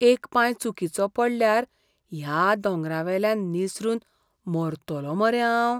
एक पांय चुकिचो पडल्यार ह्या दोंगरावेल्यान निसरून मरतलो मरे हांव.